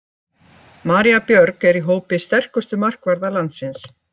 María Björg er í hópi sterkustu markvarða landsins.